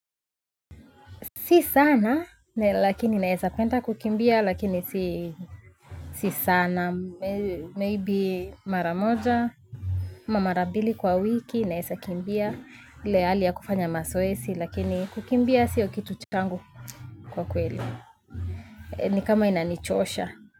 Si sana, lakini naesa penda kukimbia, lakini si sana, maybe mara moja, mara mbili kwa wiki, naesa kimbia, ile hali ya kufanya mazoezi, lakini kukimbia siyo kitu changu kwa kweli, ni kama inanichosha.